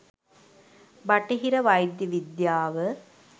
බටහිර වෛද්‍ය විද්‍යාව